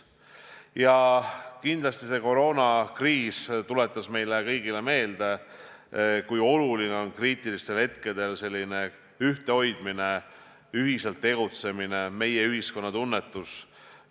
Ja kindlasti see koroonakriis tuletas meile kõigile meelde, kui oluline on kriitilistel hetkedel ühtehoidmine, ühiselt tegutsemine, meie-ühiskonna tunnetus.